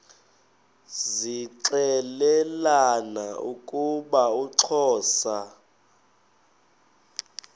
zixelelana ukuba uxhosa